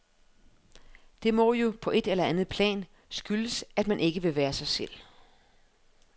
Det må jo, på et eller andet plan, skyldes, at man ikke vil være sig selv.